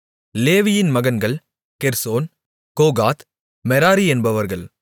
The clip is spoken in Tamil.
லேவியின் மகன்கள் கெர்சோன் கோகாத் மெராரி என்பவர்கள்